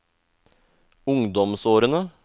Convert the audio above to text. ungdomsårene